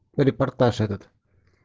репортаж этот